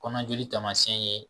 Kɔnɔjoli tamasiyɛn ye.